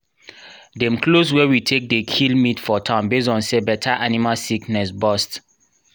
dem close where we take dey kill meat for town base on say better animal sickness bust